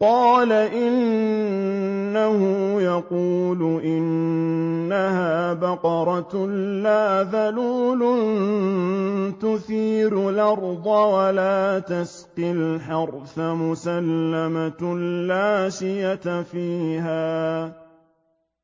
قَالَ إِنَّهُ يَقُولُ إِنَّهَا بَقَرَةٌ لَّا ذَلُولٌ تُثِيرُ الْأَرْضَ وَلَا تَسْقِي الْحَرْثَ مُسَلَّمَةٌ لَّا شِيَةَ فِيهَا ۚ